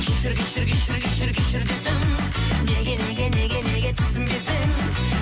кешір кешір кешір кешір кешір дедім неге неге неге неге түсінбедің